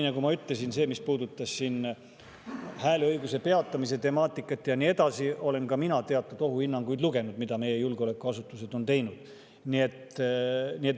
Nagu ma ütlesin, selle kohta, mis puudutab hääleõiguse peatamise temaatikat ja nii edasi, olen ka mina lugenud teatud ohuhinnanguid, mida meie julgeolekuasutused on teinud.